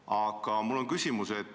Aga mul on küsimus.